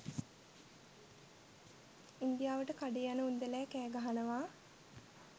ඉන්දියාවට කඩේ යනඋන්දැලා කෑ ගහනවා